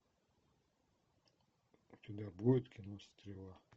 у тебя будет кино стрела